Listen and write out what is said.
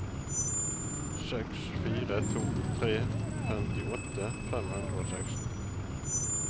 seks fire to tre femtiåtte fem hundre og seksten